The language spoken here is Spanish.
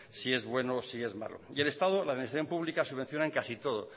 si es bueno o si es malo y el estado la administración pública subvenciona en casi todo